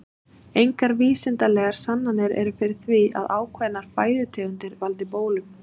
Engar vísindalegar sannanir eru fyrir því að ákveðnar fæðutegundir valdi bólum.